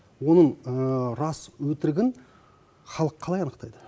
оның рас өтірігін халық қалай анықтайды